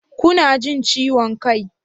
Kuna jin ciwon kai?